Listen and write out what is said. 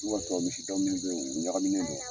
N'o y'a sɔrɔ misiw dɔ minnu bɛ yen u ɲagaminen don